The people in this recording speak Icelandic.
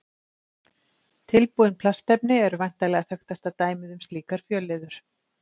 Tilbúin plastefni eru væntanlega þekktasta dæmið um slíkar fjölliður.